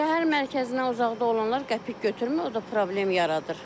Şəhər mərkəzinə uzaqda olanlar qəpik götürmür, o da problem yaradır.